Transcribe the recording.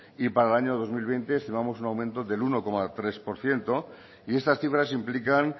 y para el año dos mil veinte estimamos un aumento del uno coma tres por ciento y estas cifras implican